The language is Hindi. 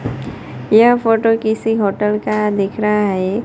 यह फोटो किसी होटल का दिख रहा है।